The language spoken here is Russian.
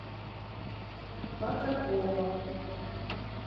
патракова